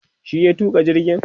shi ya tuka jirgin